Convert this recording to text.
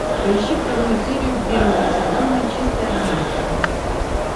поищи вторую серию первого сезона чистая романтика